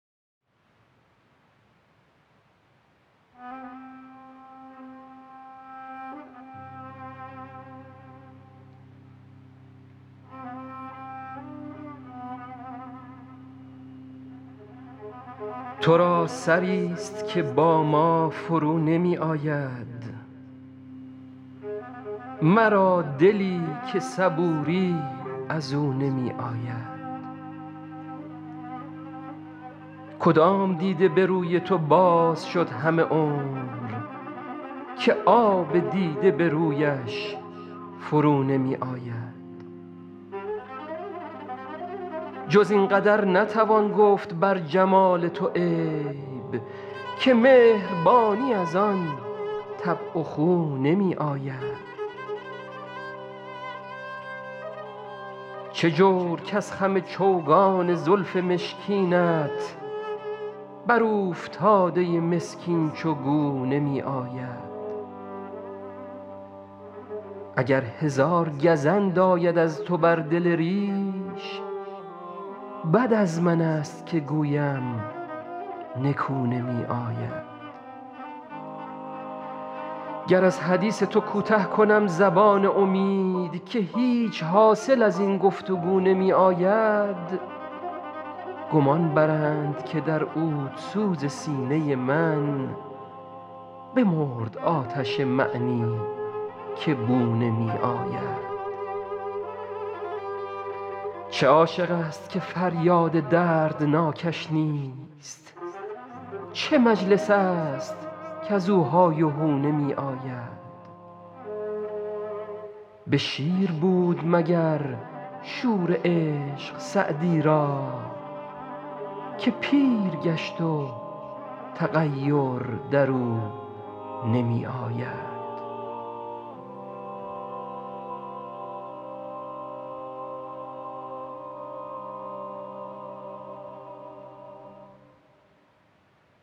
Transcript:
تو را سری ست که با ما فرو نمی آید مرا دلی که صبوری از او نمی آید کدام دیده به روی تو باز شد همه عمر که آب دیده به رویش فرو نمی آید جز این قدر نتوان گفت بر جمال تو عیب که مهربانی از آن طبع و خو نمی آید چه جور کز خم چوگان زلف مشکینت بر اوفتاده مسکین چو گو نمی آید اگر هزار گزند آید از تو بر دل ریش بد از من ست که گویم نکو نمی آید گر از حدیث تو کوته کنم زبان امید که هیچ حاصل از این گفت وگو نمی آید گمان برند که در عودسوز سینه من بمرد آتش معنی که بو نمی آید چه عاشق ست که فریاد دردناکش نیست چه مجلس ست کز او های و هو نمی آید به شیر بود مگر شور عشق سعدی را که پیر گشت و تغیر در او نمی آید